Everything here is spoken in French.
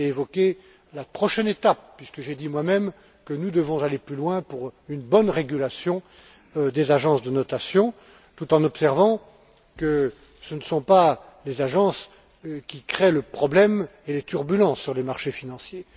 Chastel et évoquer la prochaine étape, puisque j'ai dit moi même que nous devons aller plus loin pour une bonne régulation des agences de notation, tout en observant que ce ne sont pas les agences qui créent le problème et les turbulences sur les marchés financiers.